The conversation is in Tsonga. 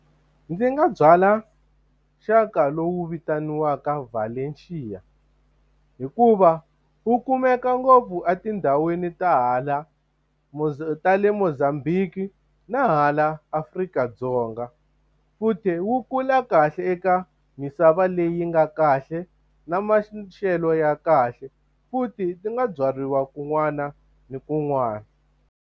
Ndzi nga byala xaka lowu vitaniwaka Valencia hikuva wu kumeka ngopfu etindhawini ta hala ta le Mozambique na hala Afrika-Dzonga. Futhi wu kula kahle eka misava leyi nga kahle na maxelo ya kahle, futhi ti nga byariwa kun'wana na kun'wana.